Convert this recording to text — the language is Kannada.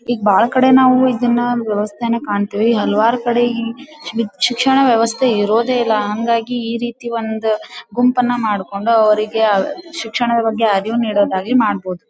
ಈಗ ಬಹಳ ಕಡೆ ನಾವು ಇದನ್ನ ವೆವಸ್ಥೆಯನ್ನ ಕಾಣ್ತಿವಿ ಹಲವಾರು ಕಡೆ ಈ ಶಿಕ್ಷಣ ವೆವಸ್ಥೆ ಇರೋದಿಲ್ಲ ಹಾಂಗಾಗಿ ಈ ರೀತಿ ಒಂದು ಗುಂಪನ್ನ ಮಾಡ್ಕೊಂಡು ಅವರಿಗೆ ಶಿಕ್ಷಣ ಬಗ್ಗೆ ಅರಿವು ನೀಡೋದಾಗಲಿ ಮಾಡಬಹುದು.